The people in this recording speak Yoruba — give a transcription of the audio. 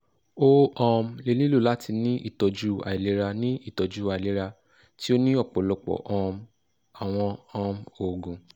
o um le nilo lati ni itọju ailera ni itọju ailera ti o ni ọpọlọpọ um awọn um oogun